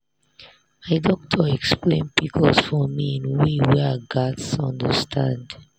my doctor explain pcos for me in way wey i gatz understand.